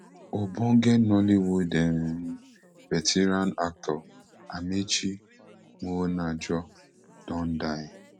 ogbonge nollywood um veteran actor amaechi muonagor don die